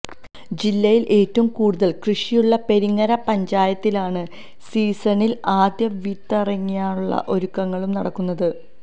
ജില്ലയില് ഏറ്റവും കൂടുതല് കൃഷിയുള്ള പെരിങ്ങര പഞ്ചായത്തിലാണ് സീസണില് ആദ്യം വിതയിറക്കാനുള്ള ഒരുക്കങ്ങളും നടക്കുന്നത്